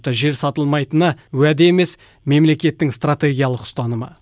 жер сатылмайтыны уәде емес мемлекеттің стратегиялық ұстанымы